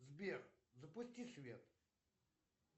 сбер запусти свет